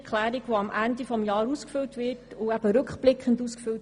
Die Steuererklärung wird Ende Jahr rückblickend ausgefüllt.